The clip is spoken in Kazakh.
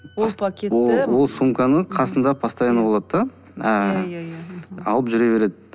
ол пакетті ол сумканы қасында постоянно болады да ыыы иә иә иә алып жүре береді